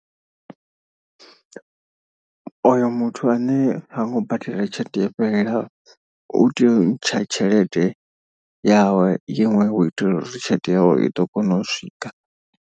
O yo muthu ane ha ngo badela tshelede yo fhelelaho u teya u ntsha tshelede yawe iṅwe hu itela uri tshelede yawe i ḓo kona u swika.